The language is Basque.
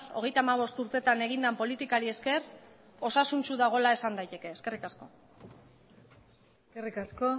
hogeita hamabost urtetan egin den politikari esker osasuntsu dagoela esan daiteke eskerrik asko eskerrik asko